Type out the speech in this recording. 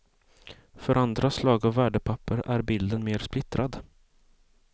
För andra slag av värdepapper är bilden mer splittrad.